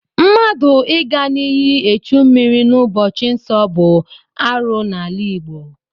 Mmadụ Ị ga n'iyi echi mmiri n'ụbọchị nsọ bụ arụ n'ala Igbo.